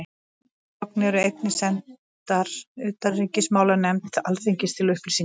Sömu gögn eru einnig sendar utanríkismálanefnd Alþingis til upplýsingar.